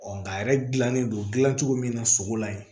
nka yɛrɛ gilannen don gilan cogo min na sogo la yen